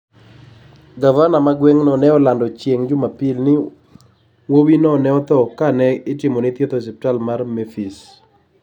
Gavana mar gweng'no ne olando chieng' Jumapil ni wuowino ne otho ka ne itimone thieth e osiptal man Memphis.